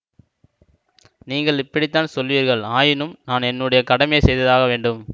நீங்கள் இப்படித்தான் சொல்வீர்கள் ஆயினும் நான் என்னுடைய கடமையை செய்தாக வேண்டும்